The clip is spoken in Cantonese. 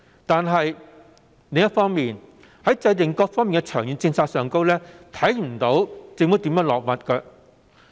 但是，另一方面，在各方面的長遠政策制訂上，卻看不到政府如何着墨。